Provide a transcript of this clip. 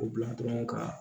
O bila dɔrɔn ka